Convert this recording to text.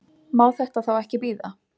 Má þetta þá ekki bíða?